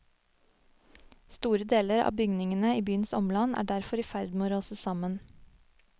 Store deler av bygningene i byens omland er derfor i ferd med å rase sammen.